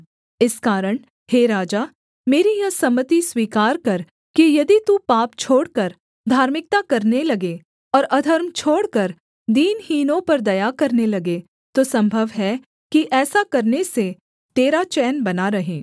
इस कारण हे राजा मेरी यह सम्मति स्वीकार कर कि यदि तू पाप छोड़कर धार्मिकता करने लगे और अधर्म छोड़कर दीनहीनों पर दया करने लगे तो सम्भव है कि ऐसा करने से तेरा चैन बना रहे